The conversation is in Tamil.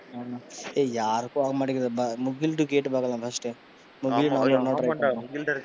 ஆமா ஏய் யாருக்கும் போக மாட்டிங்குது முகில்ட்ட கேட்டு பாக்கலாம் first டு ஆமாண்டா முகில்ட்ட இருக்கும்.